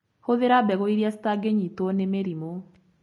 Hũthĩra mbegũ irĩa citangĩnyitwo nĩ mĩrimũ.